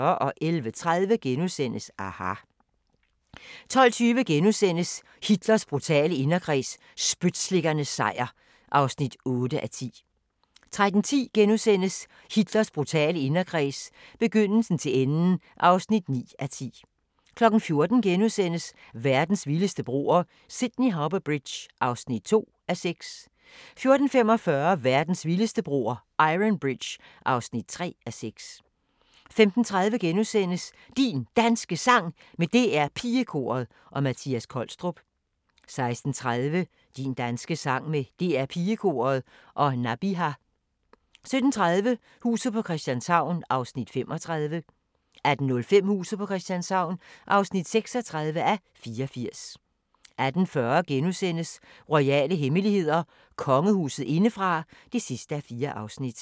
11:30: aHA! * 12:20: Hitlers brutale inderkreds – spytslikkernes sejr (8:10)* 13:10: Hitlers brutale inderkreds – begyndelsen til enden (9:10)* 14:00: Verdens vildeste broer – Sydney Harbour Bridge (2:6)* 14:45: Verdens vildeste broer – Iron Bridge (3:6) 15:30: Din Danske Sang med DR Pigekoret og Mattias Kolstrup * 16:30: Din danske sang med DR PigeKoret og Nabiha 17:30: Huset på Christianshavn (35:84) 18:05: Huset på Christianshavn (36:84) 18:40: Royale hemmeligheder: Kongehuset indefra (4:4)*